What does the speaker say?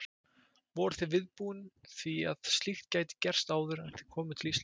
Voruð þið viðbúnir því að slíkt gæti gerst áður en þið komuð til Íslands?